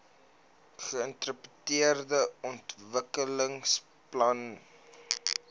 geintegreerde ontwikkelingsplan idp